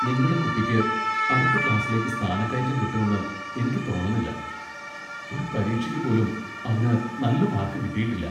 നിങ്ങടെ കുട്ടിക്ക് അടുത്ത ക്ലാസ്സിലേക്ക് സ്ഥാനക്കയറ്റം കിട്ടൂന്ന് എനിയ്ക്ക് തോന്നണില്ല, ഒരു പരീക്ഷയ്ക്ക് പോലും അവന് നല്ല മാർക്ക് കിട്ടിയിട്ടില്ല .